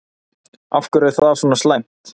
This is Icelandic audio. Af hverju er það svona slæmt?